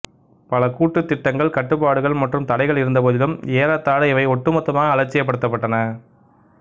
பல கூட்டுத்திட்டங்கள் கட்டுப்பாடுகள் மற்றும் தடைகள் இருந்தபோதிலும் ஏறத்தாழ இவை ஒட்டுமொத்தமாக அலட்சியப்படுத்தப்பட்டன